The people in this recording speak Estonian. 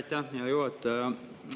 Aitäh, hea juhataja!